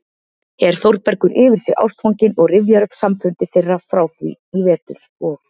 er Þórbergur yfir sig ástfanginn og rifjar upp samfundi þeirra frá því í vetur og